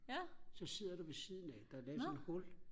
ja nå